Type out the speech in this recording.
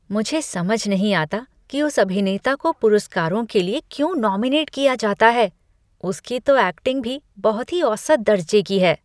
मुझे समझ नहीं आता कि उस अभिनेता को पुरस्कारों के लिए क्यों नॉमिनेट किया जाता है। उसकी तो ऐक्टिंग भी बहुत ही औसत दर्जे की है।